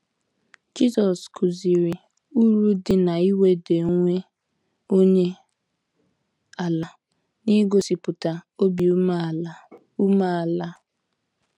Jisọs kụziri uru dị n’iweda onwe onye ala na igosipụta obi umeala. umeala.